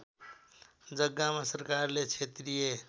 जग्गामा सरकारले क्षेत्रीय